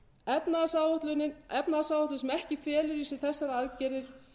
efnahagsáætlun sem ekki felur í sér þessar aðgerðir